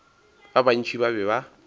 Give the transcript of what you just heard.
ba bantši ba be ba